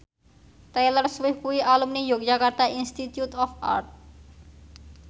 Taylor Swift kuwi alumni Yogyakarta Institute of Art